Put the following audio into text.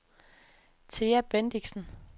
Thea Bendixen